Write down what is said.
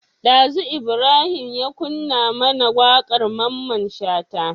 Dazu Ibrahim ya kunna mAna waƙar mamman shata